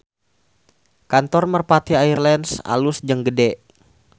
Kantor Merpati Air Lines alus jeung gede